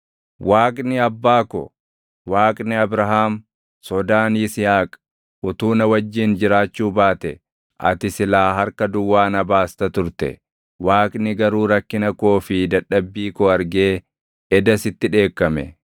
Waaqni abbaa ko, Waaqni Abrahaam, Sodaan Yisihaaq utuu na wajjin jiraachuu baate ati silaa harka duwwaa na baasta turte. Waaqni garuu rakkina koo fi dadhabbii koo argee eda sitti dheekkame.”